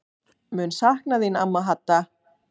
Mun sakna þín amma Hadda.